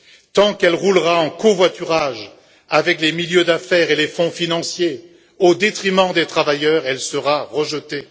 Tant qu'elle roulera en covoiturage avec les milieux d'affaires et les fonds financiers au détriment des travailleurs, elle sera rejetée.